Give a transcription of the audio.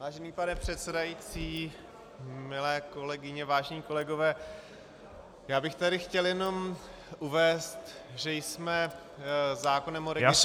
Vážený pane předsedající, milé kolegyně vážení kolegové, já bych tady chtěl jenom uvést, že jsme zákonem o registru smluv -